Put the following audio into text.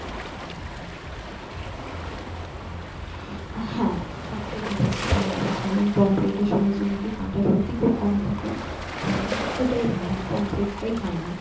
হ্যাঁ সব থেকে best ওটাই হবে কারণ পোমপ্লেটে এ শুনেছি নাকি কাটা সত্যিই খুব কম থাকে তো ওটাই ভালো পোমপ্লেটে টাই finall